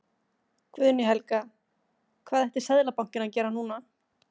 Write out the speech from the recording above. Guðný Helga: Hvað ætti Seðlabankinn að gera núna?